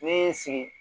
Ne ye n sigi